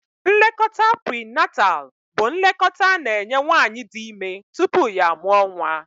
Nlekọta prinatalụ bụ nlekọta a na-enye nwaanyị di ime tupu ya amụọ nwa.